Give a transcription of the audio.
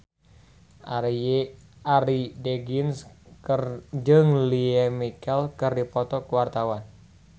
Arie Daginks jeung Lea Michele keur dipoto ku wartawan